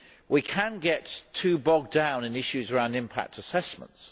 We can get too bogged down in issues around impact assessments.